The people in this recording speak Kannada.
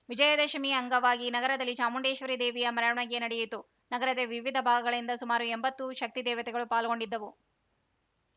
ವಿಜಯದಶಮಿ ಅಂಗವಾಗಿ ನಗರದಲ್ಲಿ ಚಾಮುಂಡೇಶ್ವರಿ ದೇವಿಯ ಮೆರವಣಿಗೆ ನಡೆಯಿತು ನಗರದ ವಿವಿಧ ಭಾಗಗಳಿಂದ ಸುಮಾರು ಎಂಬತ್ತು ಶಕ್ತಿ ದೇವತೆಗಳು ಪಾಲ್ಗೊಂಡಿದ್ದವು